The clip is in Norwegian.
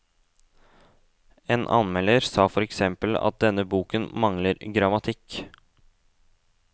En anmelder sa for eksempel at denne boken mangler grammatikk.